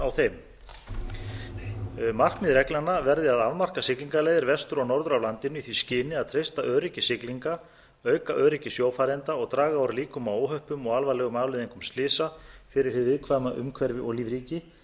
á þeim markmið reglnanna verði að afmarka siglingaleiðir vestur og norður af landinu í því skyni að treysta öryggi siglinga auka öryggi sjófarenda og draga úr líkum á óhöppum og alvarlegum afleiðingum slysa fyrir hið viðkvæma umhverfi og lífríki